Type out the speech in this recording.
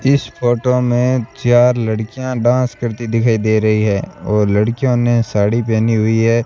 इस फोटो मे चार लड़कियां डांस करती दिखाई दे रही है और लड़कियों ने साड़ी पहनी हुई है।